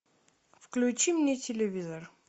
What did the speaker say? включи мне телевизор